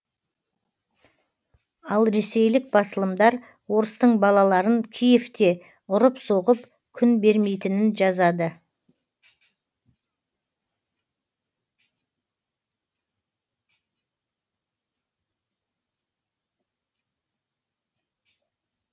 ал ресейлік басылымдар орыстың балаларын киевте ұрып соғып күн бермейтінін жазады